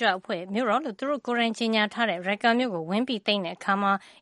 ကြွအဖွဲ့ရဲ့ မြို့တော်လို့ သူတို့ကိုယ်တိုင် ကြေညာထားတဲ့ Raqqa မြို့ကို ဝင်သိမ်းတဲ့အခါ